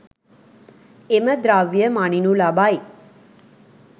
එම ද්‍රව්‍ය මනිනු ලබයි.